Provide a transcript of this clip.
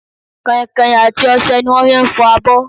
Kàinkàin àti ọsẹ ni wọn fi ń fọ abọ